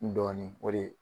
N dɔɔnin o de